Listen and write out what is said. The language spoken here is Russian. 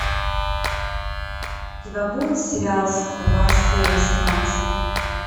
у тебя будет сериал стрела серия семнадцать